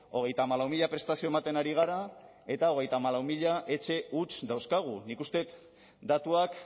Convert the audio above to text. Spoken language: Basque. hogeita hamalau mila prestazio ematen ari gara eta hogeita hamalau mila etxe huts dauzkagu nik uste dut datuak